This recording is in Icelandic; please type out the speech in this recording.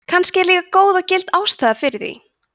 kannski er líka góð og gild ástæða fyrir því